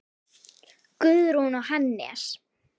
Guðrún og Hannes.